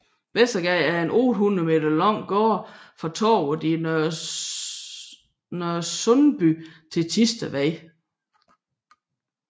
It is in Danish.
Vestergade er en 800 meter lang gade fra Torvet i Nørresundby til Thistedvej